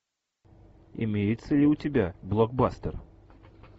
имеется ли у тебя блокбастер